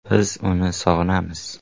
“Biz uni sog‘inamiz.